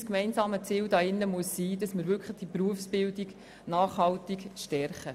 Unser gemeinsames Ziel sollte darin bestehen, die Berufsbildung nachhaltig zu stärken.